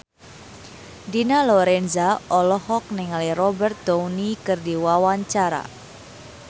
Dina Lorenza olohok ningali Robert Downey keur diwawancara